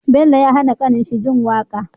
Bello ya hAna kanin shi jin waƙa